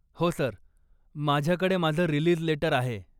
हो सर, माझ्याकडे माझं रीलीज लेटर आहे.